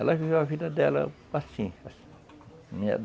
Ela viveu a vida dela assim